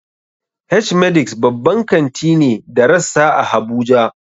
H-medix babban kanti ne da rassa a habuja.